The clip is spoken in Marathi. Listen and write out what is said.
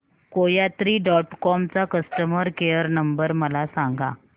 कोयात्री डॉट कॉम चा कस्टमर केअर नंबर मला सांगा